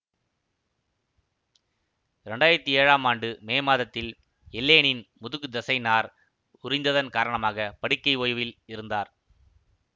இரண்டு ஆயிரத்தி ஏழாம் ஆண்டு மே மாதத்தில் எல்லேனின் முதுகு தசை நார் உரிந்ததன் காரணமாக படுக்கை ஓய்வில் இருந்தார்